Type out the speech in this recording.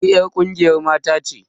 Ni 'yar ƙungiyar mata ce